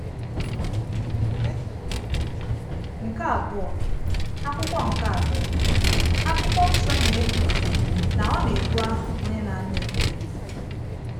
Nke abụọ, Akwụkwọ Nke abụọ, Akwụkwọ Nsọ na-ekpughe na Ọ na-ebu aha “Onye na-anụ ekpere.”